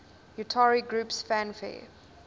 utari groups fanfare